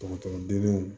Dɔgɔtɔrɔ denw